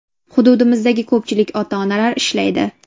Hududimizdagi ko‘pchilik ota-onalar ishlaydi.